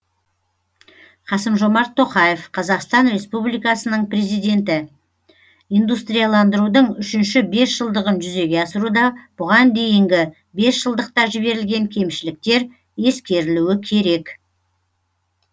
қасым жомарт тоқаев қазақстан республикасының президенті индустрияландырудың үшінші бесжылдығын жүзеге асыруда бұған дейінгі бесжылдықта жіберілген кемшіліктер ескерілуі керек